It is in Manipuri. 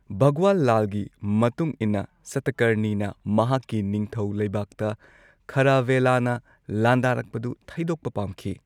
ꯚꯒꯋꯥꯜ ꯂꯥꯜꯒꯤ ꯃꯇꯨꯡ ꯏꯟꯅ ꯁꯇꯀꯔꯅꯤꯅ ꯃꯍꯥꯛꯀꯤ ꯅꯤꯡꯊꯧ ꯂꯩꯕꯥꯛꯇ ꯈꯥꯔꯥꯚꯦꯂꯥꯅ ꯂꯥꯟꯗꯥꯔꯛꯄꯗꯨ ꯊꯩꯗꯣꯛꯄ ꯄꯥꯝꯈꯤ꯫